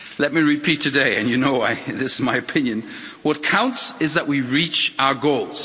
Let me repeat today, and you know this is my opinion what counts is that we reach our goals.